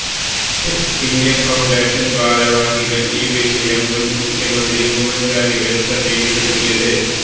step India Foundation ഭാരവാഹികള് ഈ വിഷയം മുന് മുഖ്യമന്ത്രി ഉമ്മന്ചാണ്ടിയുടെ ശ്രദ്ധയില്പ്പെടുത്തിയത്